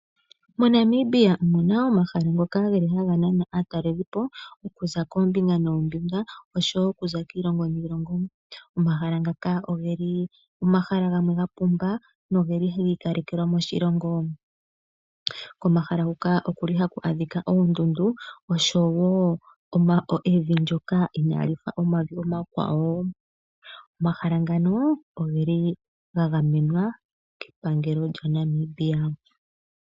MoNamibia omu na omahala ngoka geli haga nana aatalelelipo okuza koombinga noombinga osho wo okuza kiilongo niilongo. Omahala ngaka ogeli omahala gamwe ga pumba nogeli gi ikalekelwa moshilongo. Komahala huka okuli ha ku adhika oondundu osho wo evi ndyoka inaali fa omavi omakwawo. Omahala ngano ogeli ga gamenwa kepangelo lyaNamibia.